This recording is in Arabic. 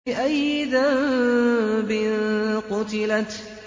بِأَيِّ ذَنبٍ قُتِلَتْ